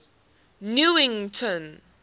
newington